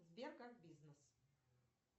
сбер как бизнес